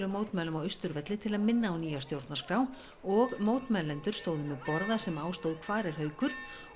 mótmælum á Austurvelli til að minna á nýja stjórnarskrá og mótmælendur stóðu með borða sem á stóð hvar er Haukur